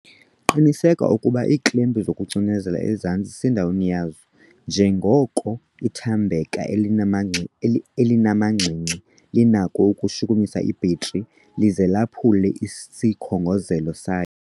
Qiniseka ukuba iiklempu zokucinezelela ezantsi zisendaweni yazo, njengoko ithambeka elinamangxi elinamagingxi-gingxi linako ukushukumisa ibhetri lize laphule isikhongozelo sayo.